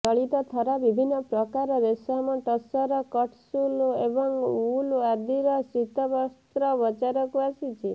ଚଳିତଥର ବିଭିନ୍ନପ୍ରକାର ରେଶମ ଟସର କଟସୁଲ ଏବଂ ଉଲ ଆଦିର ଶୀତବସ୍ତ୍ର ବଜାରକୁ ଆସିଛି